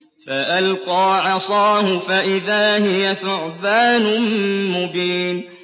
فَأَلْقَىٰ عَصَاهُ فَإِذَا هِيَ ثُعْبَانٌ مُّبِينٌ